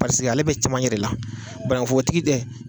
ale bɛ cɛmancɛ de la banaŋufotigi tɛ